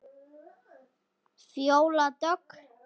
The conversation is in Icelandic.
Fjóla Dögg.